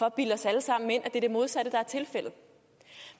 at bilde os alle sammen ind at det er det modsatte der er tilfældet